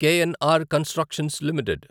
KNR constructions limited